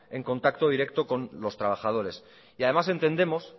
en contacto directo con los trabajadores y además entendemos